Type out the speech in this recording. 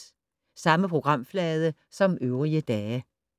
Samme programflade som øvrige dage